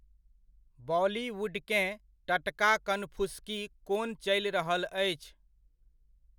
बॉलीवुडकेँ टटका कनफुसकी कोन चलि रहल अछि?